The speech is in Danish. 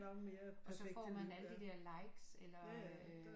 Og så får man alle de der likes eller